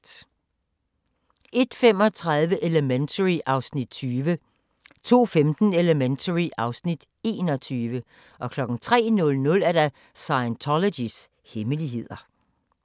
01:35: Elementary (Afs. 20) 02:15: Elementary (Afs. 21) 03:00: Scientologys hemmeligheder